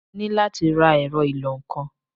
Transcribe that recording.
Mo ní láti ra ẹ̀rọ ìlọ-nǹkan.